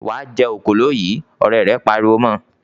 "Wà á jẹ òkòló yìí!" Ọ̀rẹ́ rẹ̀ pariwo mọ.